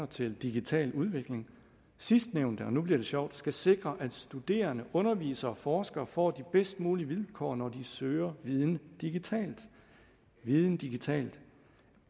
til digital udvikling sidstnævnte og nu bliver det sjovt skal sikre at studerende undervisere og forskere får de bedst mulige vilkår når de søger viden digitalt viden digitalt